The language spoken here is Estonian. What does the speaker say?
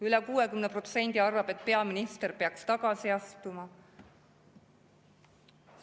Üle 60% arvab, et peaminister peaks tagasi astuma.